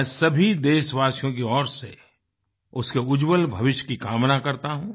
मैं सभी देशवासियों की ओर से उसके उज्जवल भविष्य की कामना करता हूँ